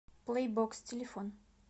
плэй бокс телефон